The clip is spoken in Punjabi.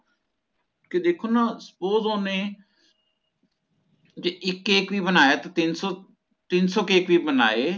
ਤੇ ਦੇਖੋ ਨਾ suppose ਓਹਨੇ ਜੇ ਇੱਕ cake ਵੀ ਬਣਾਅ ਤੇ ਤਿਨਸੋ ਤਿਨਸੋ cake ਵੀ ਬਣਾਏ